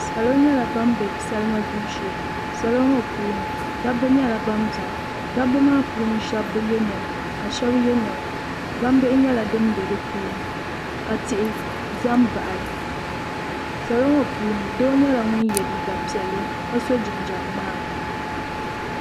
Salo nyɛla ban bɛ salima gbibu shee salo ŋo puuni dabba nyɛla ban biɛni dabba maa puuni shab bi yɛ niɛma ka shab yɛ niɛma gbambihi nyɛla din bɛ di puuni ka tihi ʒɛ n baɣali salo ŋo puuni doo nyɛla ŋun yɛ liiga piɛlli ka so jinjɛm ŋmaa